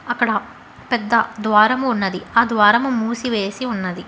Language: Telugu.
అక్కడ పెద్ద ద్వారము ఉన్నది ఆ ద్వారము మూసి వేసి ఉన్నది.